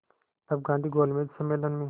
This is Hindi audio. तब गांधी गोलमेज सम्मेलन में